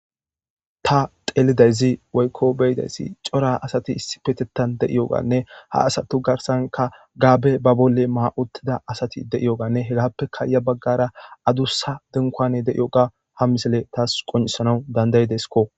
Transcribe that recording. Ta telidayzi woykko beyidayzi cora asati issi petetan de'iyo ganne ha asatu garsanka gaabe ba bolle ma'uttida asati de'iyoganne hegappeka ya baggara adussa denkoane deiyo ga ha misile taas qonisanau dandaydesiko.